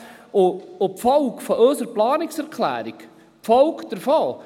Die Folge unserer Planungserklärung wäre ganz klar: